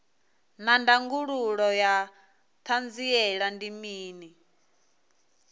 naa ndangulo ya hanziela ndi mini